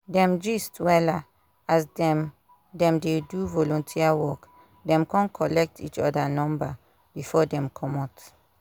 dem gist wella as dem dem dey do volunteer work dem kon collect each other number before dem comot